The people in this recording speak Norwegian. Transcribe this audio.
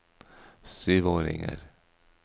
syvåringer